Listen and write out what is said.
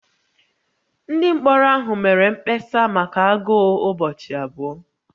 Ndị mkpọrọ ahụ mere mkpesa maka agụụ ụbọchị abụọ